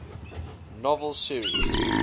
novel series